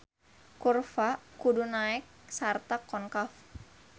Kurva kudu naek sarta konkav.